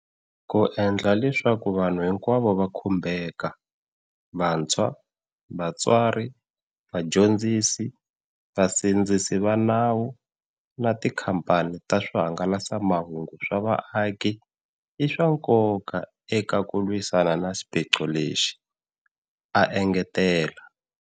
Ku endla leswaku vanhu hinkwavo va khumbeka - vantshwa, vatswari, vadyondzisi, vasindzisi va nawu na tikhamphani ta swihanga lasamahungu swa vaaki - i swa nkoka eka ku lwisana na xiphiqo lexi, a engetela.